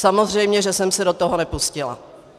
Samozřejmě že jsem se do toho nepustila.